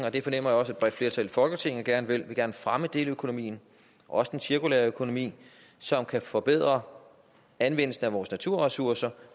og det fornemmer jeg også et bredt flertal i folketinget gerne vil fremme deleøkonomien også den cirkulære økonomi som kan forbedre anvendelsen af vores naturressourcer